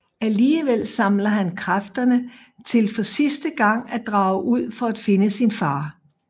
Alligevel samler han kræfterne til for sidste gang at drage ud for at finde sin far